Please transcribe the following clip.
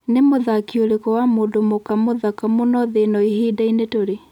ni mũthakî ũrĩkũ wa mũndũ mũka mũthaka mũno thĩ ĩno ĩhĩnda-inĩ turĩ